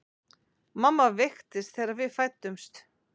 Mamma veiktist þegar við fæddumst.